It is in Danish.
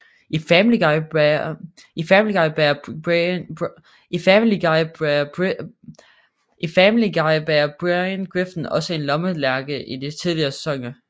I Family Guy bærer Brian Griffin også en lommelærke i de tidligere sæsoner